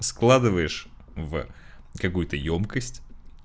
складываешь в какую-то ёмкость